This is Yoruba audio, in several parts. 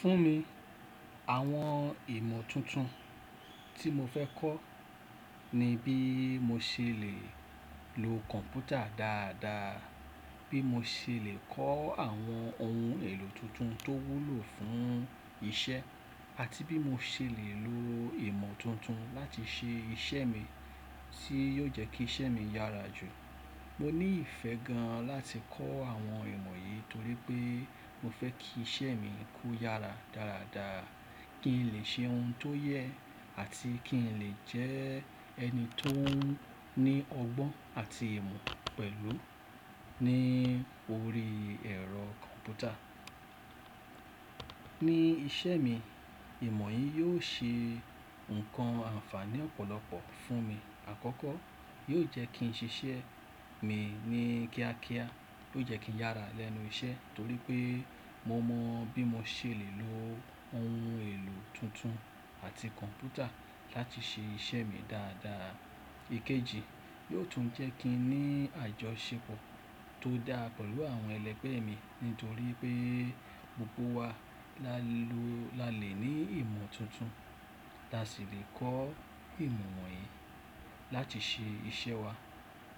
Fún mi, àwọn ìmọ̀ tuntun tí mo fẹ́ kọ́ ni bí mo ṣe lè lo kọ̀ǹpútà dáadáa, bí mo ṣe lè kọ́ àwọn ohun èlò tuntun tó wúlò fún iṣẹ́, àti bí mo ṣe lè lo ìmọ̀ tuntun láti ṣe iṣẹ́ mi tí yóò jẹ́ kí iṣẹ́ mi yára jù. Mo ní ìfẹ́ gan láti kọ́ àwọn ìmọ̀ yìí torí pé mo fẹ́ kí iṣẹ́ mi kó yára dáradára, kí n lè ṣe ohun tó yẹ àti kí n lè jẹ́ ẹni tó ní ọgbọ́n àti ìmọ̀ pẹ̀lú ní orí ẹ̀rọ kọ̀ǹpútà. Ní iṣẹ́ mi, ìmọ̀ yìí yóò ṣe nǹkan àǹfààní ọ̀pọ̀lọpọ̀ fún mi. Àkọ́kọ́, yóò jẹ́ kí n ṣiṣẹ́ mi ní kíákíá tó jẹ́ kí n yára lẹ́nu iṣẹ́ torí pé mo mọ bí mo ṣe lè lo ohun èlò tuntun àti kọ̀ǹpútà láti ṣe iṣẹ́ mi dáadáa. Èkejì, yóò tún jẹ́ kí n ní àjọṣepọ̀ tó dá pẹ̀lú àwọn ẹlẹgbẹ́ mi nítorí pé gbogbo wa là lẹ lọ la lè ní ìmọ̀ tuntun, la sì lè kọ́ ìmọ̀ wọ̀nyí láti ṣe iṣẹ́ wa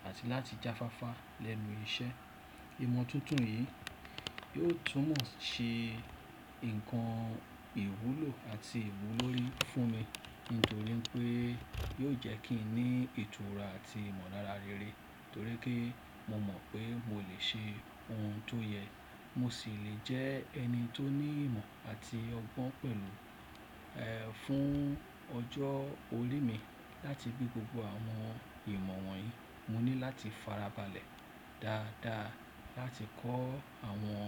àti láti jáfáfá lẹ́nu iṣẹ́. Ìmọ̀ tuntun yìí yóò tún mọ̀ ṣe nǹkan ìwúlò àti ìwúlòrí fún mi nítorí pé yóò jẹ́ kí n ní ìtura àti ìmọ̀ láraréré torí pé mo mọ̀ pé mo lè ṣe ohun tó yẹ, mo sì lè jẹ́ ẹni tó ní ìmọ̀ àti ọgbọ́n pẹ̀lú, eh, fún ọjọ́ orí mi. Láti bí gbogbo àwọn ìmọ̀ wọ̀nyí, mo ní láti farabalẹ̀ dáadáa láti kọ́ àwọn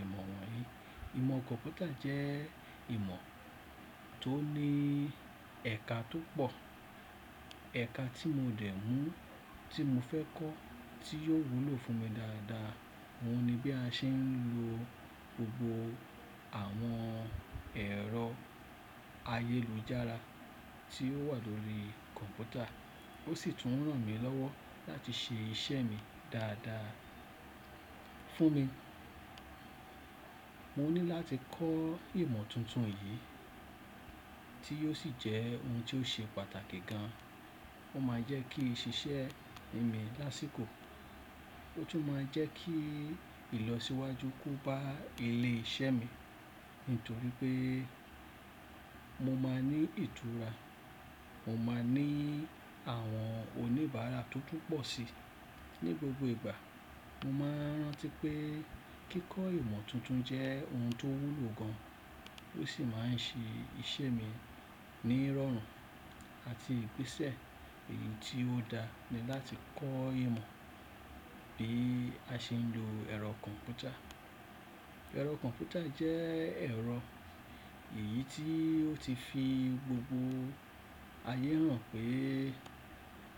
ìmọ̀ wọ̀nyí. Ìmọ̀ kọ̀ǹpútà jẹ́ ìmọ̀ tó ní ẹ̀ka tó pọ̀. Ẹ̀ka tí mo dẹ̀ mú tí mo fẹ́ kọ́ tí yóò wúlò fún mi dáadáa wọ́n ni bí a ṣe ń lo gbogbo àwọn ẹ̀rọ ayélujára tí ó wà lórí kọ̀ǹpútà. Ó sì tún ràn mí lọ́wọ́ láti ṣe iṣẹ́ mi dáadáa. Fún mi, mo ní láti kọ́ ìmọ̀ tuntun yìí tí yóò sì jẹ́ ohun tó ṣe pàtàkì gan. Ó máa jẹ́ kí ṣiṣẹ́ mi lá síkò, ó tún máa jẹ́ kí ìlọsíwájú kú bá ilé iṣẹ́ mi nítorí pé mo máa ní ìtura, mo máa ní àwọn oníbàárà tó tún pọ̀ si. Ni gbogbo ìgbà, mo máa rántí pé kíkọ ìmọ̀ tuntun jẹ́ ohun tó wúlò gan, ó sì máa ń ṣe iṣẹ́ mi ní ìrọ̀rùn àti ìgbésẹ̀ èyí tí ó dá ni láti kọ́ ìmọ̀ bí a ṣe ń lo ẹ̀rọ kọ̀ǹpútà. Ẹ̀rọ kọ̀ǹpútà jẹ́ ẹ̀rọ èyí tí ó ti fi gbogbo ayé mọn pé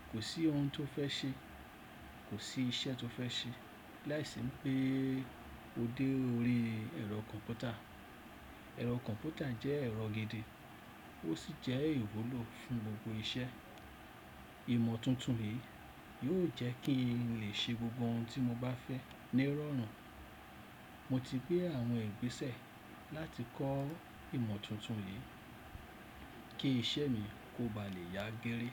kò sí ohun tó fẹ́ ṣe, kò sí iṣẹ́ tó fẹ́ ṣe láìsí pé o dé orí ẹ̀rọ kọ̀ǹpútà. Ẹ̀rọ kọ̀ǹpútà jẹ́ ẹ̀rọ gidi, ó sì jẹ́ ìwúlò fún gbogbo iṣẹ́. Ìmọ̀ tuntun yìí yóò jẹ́ kí n lè ṣe gbogbo ohun tí mo bá fẹ́ ní ìrọ̀rùn. Mo ti gbé àwọn ìgbésẹ̀ láti kọ́ ìmọ̀ tuntun yìí kí iṣẹ́ mi kó ba lè yá géré.